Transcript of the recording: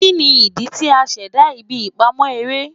Kini idi ti a ṣẹda ibi ipamọ ere?